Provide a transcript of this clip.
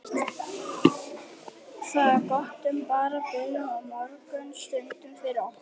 Það er gott en bara byrjun á mörgum stundum fyrir okkur.